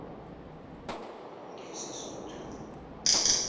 ngesisuthu